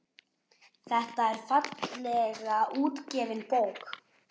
Þetta er fallega útgefin bók.